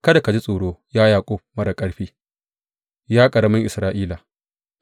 Kada ka ji tsoro, ya Yaƙub marar ƙarfi, ya ƙaramin Isra’ila,